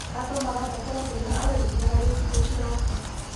Andũ marabatara kwĩharĩrĩria harĩ thikũ ciroka.